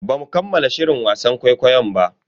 Bamu kammala shirin wasan ƙwaiƙwayon ba.